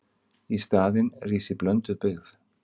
Í staðinn rísi blönduð byggð.